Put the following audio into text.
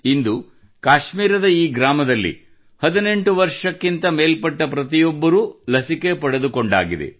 ಇಂದು ಕಾಶ್ಮೀರದ ಈ ಗ್ರಾಮದಲ್ಲಿ 18 ವರ್ಷ ಮೇಲ್ಪಟ್ಟ ಪ್ರತಿಯೊಬ್ಬರೂ ಲಸಿಕೆ ಪಡೆದುಕೊಂಡಾಗಿದೆ